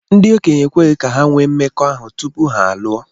Ndị okenye ekweghị ka ha nwee mmekọahụ tupu ha alụọ.